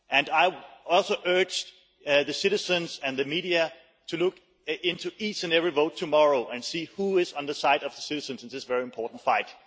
I also urge the citizens and the media to look into each and every vote tomorrow and see who is on the side of citizens in this very important fight.